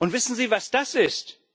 Wissen Sie, was das ist?